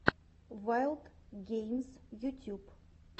ваилд геймс ютюб